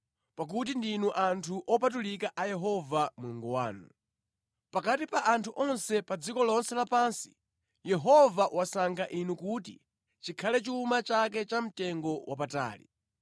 pakuti ndinu anthu opatulika a Yehova Mulungu wanu. Pakati pa anthu onse pa dziko lonse lapansi, Yehova wasankha inu kuti chikhale chuma chake chamtengo wapatali.